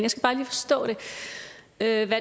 at